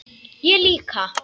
Ég líka.